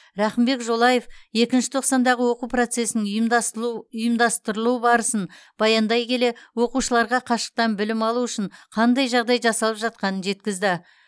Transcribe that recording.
рақымбек жолаев екінші тоқсандағы оқу процесінің ұйымдастырылу барысын баяндай келе оқушыларға қашықтан білім алу үшін қандай жағдай жасалып жатқанын жеткізді